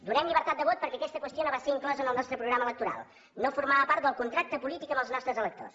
donem llibertat de vot perquè aquesta qüestió no va ser inclosa en el nostre programa electoral no formava part del contracte polític amb els nostres electors